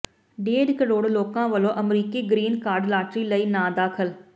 ਡੇਢ ਕਰੋੜ ਲੋਕਾਂ ਵੱਲੋਂ ਅਮਰੀਕੀ ਗਰੀਨ ਕਾਰਡ ਲਾਟਰੀ ਲਈ ਨਾਂ ਦਾਖਲ